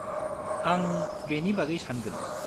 आं बेनि बागै सानगोन।